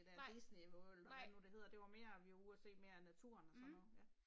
Nej, nej. Mh